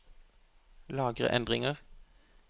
Lagre endringer